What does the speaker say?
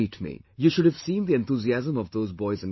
You should have seen the enthusiasm of those boys and girls